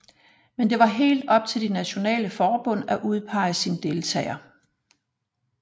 Men det var helt op til de nationale forbund at udpege sin deltager